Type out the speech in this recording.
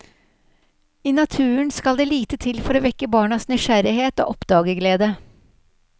I naturen skal det lite til for å vekke barnas nysgjerrighet og oppdagerglede.